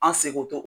An seko